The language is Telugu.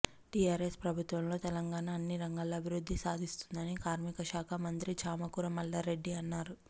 టీఆర్ఎస్ ప్రభుత్వంలో తెలంగాణ అన్ని రంగాల్లో అభివృద్ది సాధిస్తుందని కార్మికశాఖ మంత్రి చామకూర మల్లారెడ్డి అన్నారు